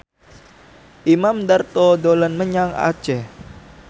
Imam Darto dolan menyang Aceh